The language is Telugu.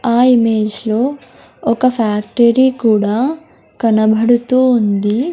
ఆ ఇమేజ్లో ఒక ఫ్యాక్టరీ కూడా కనబడుతూ ఉంది.